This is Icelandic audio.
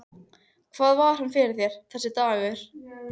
Hvað var hann fyrir þér, þessi dagur.